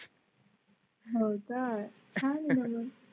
हो चा छान आहे ना मग